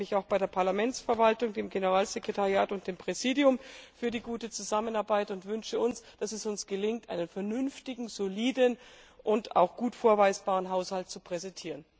Ich bedanke mich auch bei der Parlamentsverwaltung, dem Generalsekretariat und dem Präsidium für die gute Zusammenarbeit und wünsche uns, dass es gelingt, einen vernünftigen, soliden und auch gut vorweisbaren Haushalt zu präsentieren.